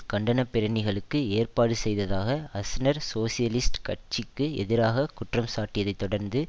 கண்டனப்பேரணிகளுக்கு ஏற்பாடு செய்ததாக Aznar socialist கட்சிக்கு எதிராக குற்றம் சாட்டியதை தொடர்ந்து